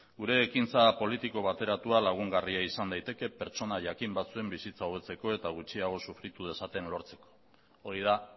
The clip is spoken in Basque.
gure ekintza politiko bateratua lagungarria izan daiteke pertsonaia jakin batzuen bizitza hobetzeko eta gutxiago sufritu dezaten lortzeko hori da